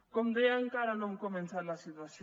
com deia encara no hem començat la situació